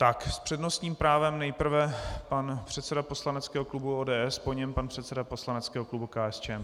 Tak s přednostním právem nejprve pan předseda poslaneckého klubu ODS, po něm pan předseda poslaneckého klubu KSČM.